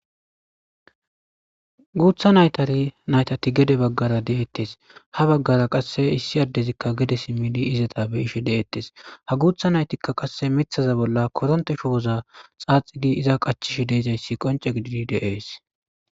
guutha naytari naytati gede baggara de'ettes ha baggara qasse issi addezikka gede simmidi izata beyish de7ettes ha guutha naytikka qasse mithaza bolla koronte shu woza xaaxigi iza qachish de'izayssi qonce gididi de'ees